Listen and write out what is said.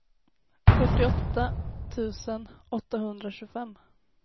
fyrtioåtta tusen åttahundratjugofem